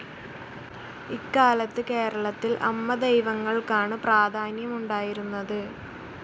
ഇക്കാലത്ത് കേരളത്തിൽ അമ്മദൈവങ്ങൾക്കാണ് പ്രാധാന്യമുണ്ടായിരുന്നത്.